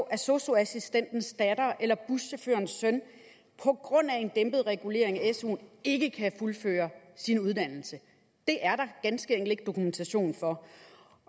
at sosu assistentens datter eller buschaufførens søn på grund af en dæmpet regulering af suen ikke kan fuldføre en uddannelse det er der ganske enkelt ikke dokumentation for